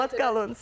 Salamat qalın.